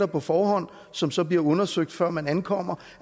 på forhånd som så bliver undersøgt før man ankommer